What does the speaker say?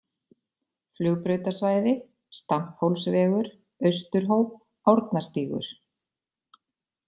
Flugbrautasvæði, Stamphólsvegur, Austurhóp, Árnastígur